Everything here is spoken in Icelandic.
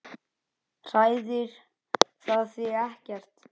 Hræðir það þig ekkert?